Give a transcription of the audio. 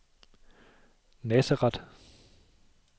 Nazareth